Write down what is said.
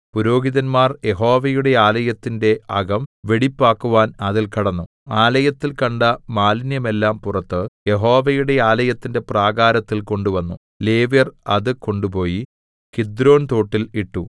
പുരോഹിതന്മാർ യഹോവയുടെ ആലയത്തിന്റെ അകം വെടിപ്പാക്കുവാൻ അതിൽ കടന്നു ആലയത്തിൽ കണ്ട മാലിന്യമെല്ലാം പുറത്ത് യഹോവയുടെ ആലയത്തിന്റെ പ്രാകാരത്തിൽ കൊണ്ടുവന്നു ലേവ്യർ അത് കൊണ്ട് പോയി കിദ്രോൻതോട്ടിൽ ഇട്ടു